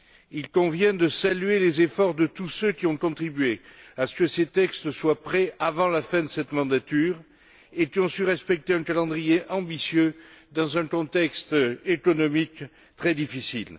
Il convient de saluer les efforts de tous ceux qui ont contribué à ce que ces textes soient prêts avant la fin de cette législature, et qui ont su respecter un calendrier ambitieux, dans un contexte économique très difficile.